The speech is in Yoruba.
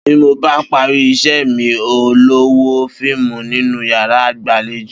Bí mo bá parí is̩é̩mi, n óò lo̩ wo fíìmù nínú yàrá ìgbàlejò